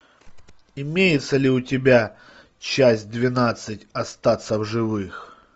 имеется ли у тебя часть двенадцать остаться в живых